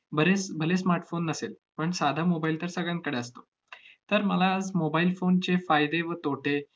बरेच भले smartphone नसेल, पण साधा mobile तर सगळ्यांकडे असतो. तर मला आज mobile phone चे फायदे व तोटे